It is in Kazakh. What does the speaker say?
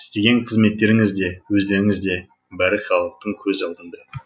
істеген қызметтеріңіз де өздеріңіз де бәрі халықтың көз алдында